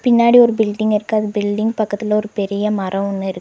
முன்னாடி ஒரு பில்டிங் இருக்கு அது பில்டிங் பக்கத்துல ஒரு பெரிய மரோ ஒண்ணு இருக்--